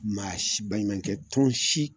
Maa si baɲumankɛ tɔn si